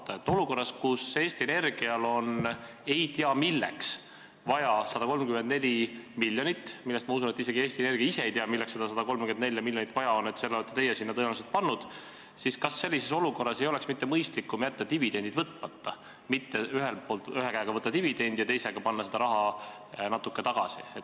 Kas sellises olukorras, kus Eesti Energial on ei tea milleks vaja 134 miljonit – ma usun, et isegi Eesti Energia ei tea, milleks seda 134 miljonit vaja on, teie olete selle sinna tõenäoliselt pannud –, ei oleks mitte mõistlikum jätta dividendid võtmata, selle asemel et ühe käega võtta dividendi ja teisega panna seda raha natuke tagasi?